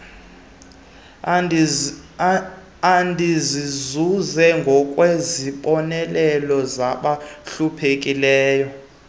endizizuze ngokwesibonelelo sabahluphekleyo